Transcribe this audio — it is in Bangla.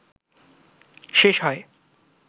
শেষ হয়